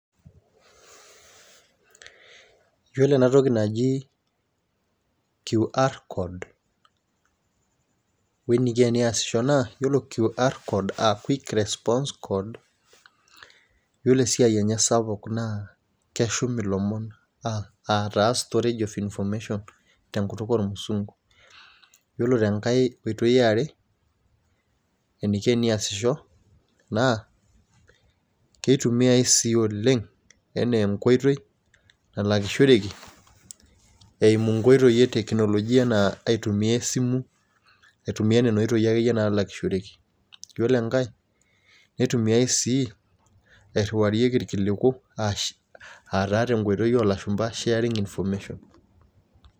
Yiolo ena toki naji QR code weniko eneasisho naa QR aa quick response code naa yiolo esiai enye naa keshum ilomon aa taa storage of information tonkuk oomusunku. Ore tenkai oitoi eare eniko eneasisho naa kitumiyai sii oleng' enaa enkoitoi nalakishoreki eimu inkoitoi eteknologia enaa aitumia esimu aitumiya nena oitoyi akeyie nalakishoreki. Yiolo enkae nitumiyai sii irriwarieki ilkiliku ASH aa taa tenkoitoi olashumba sharing information[c].